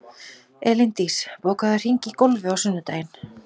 Elíndís, bókaðu hring í golf á sunnudaginn.